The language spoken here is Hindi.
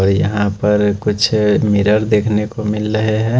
और यहां पर कुछ मिरर देखने को मिल रहे हैं।